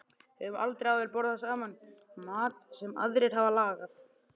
Höfum aldrei áður borðað saman mat sem aðrir hafa lagað.